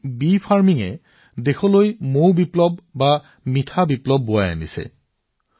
মৌ মাখি পালন দেশৰ মৌ বিপ্লৱ বা মিঠা বিপ্লৱৰ আধাৰ হৈ উঠিছে